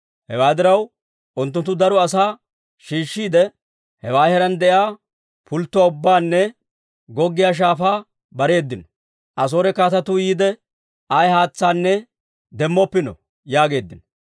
Hewaa diraw, unttunttu daro asaa shiishshiide, hewaa heeraan de'iyaa pulttotuwaa ubbaanne goggiyaa shaafaa bareedino. «Asoore kaatetuu yiide, ayaa haatsaanne demmoppino» yaageeddino.